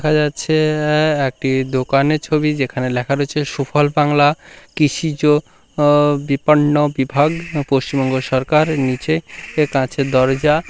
দেখা যাচ্ছে আ --একটি দোকানের ছবি যেখানে লেখা রয়েছে সুফল বাংলা কৃষিজ ও বিপন্ন বিভাগ পশ্চিমবঙ্গ সরকার নিচে এ কাঁচের দরজা।